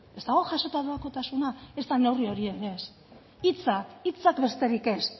ezta neurri hori ere ez hitzak besterik ez